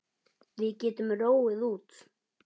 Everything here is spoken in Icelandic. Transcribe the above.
Við getum róið út.